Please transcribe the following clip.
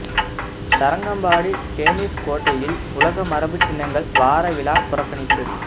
Tharangambadi Danish கோட்டையில் உலக மரபு சின்னங்கள் வார விழா புறக்கணிப்பு